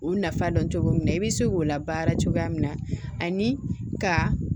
U nafa dɔn cogo min na i bɛ se k'o labaara cogoya min na ani ka